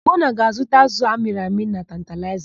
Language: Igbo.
Ugonna ga-azụta ázụ̀ amịrị amị na Tantalaịza.